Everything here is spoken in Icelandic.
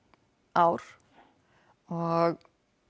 ár og